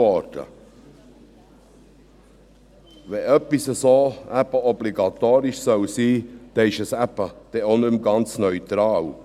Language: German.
Wenn so etwas obligatorisch sein soll und diese Schulen dann auch teilnehmen, ist es eben nicht mehr ganz neutral.